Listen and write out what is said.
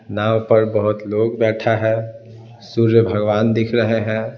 नाव पर बहुत लोग बैठा है सूर्य भगवान दिख रहे हैं।